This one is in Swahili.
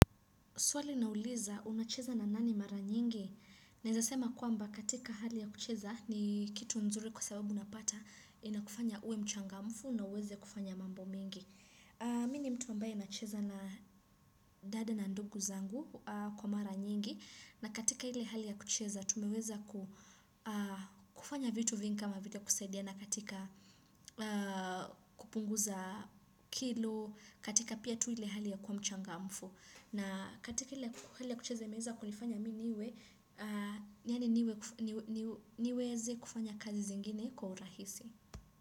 Swali nauliza, unacheza na nani mara nyingi? Naeza sema kwamba katika hali ya kucheza ni kitu nzuri kwa sababu unapata inakufanya uwe mchangamfu na uweze kufanya mambo mingi. Mimi ni mtu ambaye nacheza na dada na ndugu zangu kwa mara nyingi. Na katika ile hali ya kucheza tumeweza kufanya vitu vingi kama vile kusaidiana katika kupunguza kilo katika pia tu ile hali ya kuwa mchangamfu. Na katika ile hali ya kucheza imeeza kunifanya mimi niwe, niweze kufanya kazi zingine kwa urahisi.